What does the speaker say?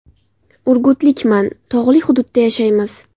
Urgutlikman, tog‘li hududda yashaymiz.